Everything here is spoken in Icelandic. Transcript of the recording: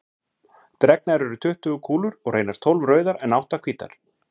Dregnar eru tuttugu kúlur og reynast tólf rauðar en átta hvítar.